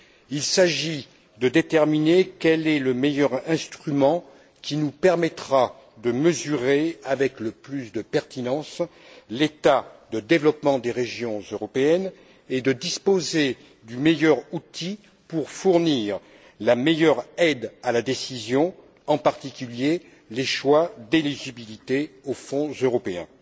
Il s'agit de déterminer quel est le meilleur instrument qui nous permettra de mesurer avec le plus de pertinence l'état de développement des régions européennes et de disposer du meilleur outil pour fournir la meilleure aide à la décision, en particulier sur les choix d'éligibilité aux Fonds européens.